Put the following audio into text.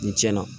Ni tiɲɛna